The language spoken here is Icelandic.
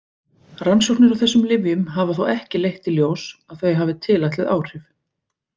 Rannsóknir á þessum lyfjum hafa þó ekki leitt í ljós að þau hafi tilætluð áhrif.